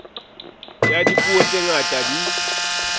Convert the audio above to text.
ya dipuo tse ngata di